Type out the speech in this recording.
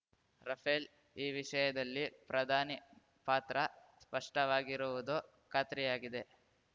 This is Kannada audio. ರಫೇಲ್ ಈ ವಿಷಯದಲ್ಲಿ ಪ್ರಧಾನಿ ಪಾತ್ರ ಸ್ಪಷ್ಟವಾಗಿರುವುದು ಖಾತ್ರಿಯಾಗಿದೆ